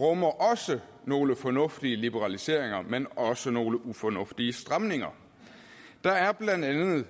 rummer også nogle fornuftige liberaliseringer men også nogle ufornuftige stramninger der er blandt andet